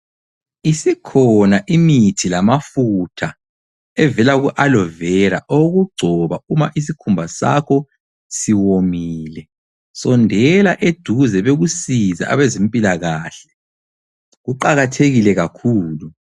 Isikhona imithi lamafutha evela ku Aloe vera owokugcoba uma isikhumba sakho siwomile sondela eduze bakusize abezempilakahle. Kuqakathekile kakhulu.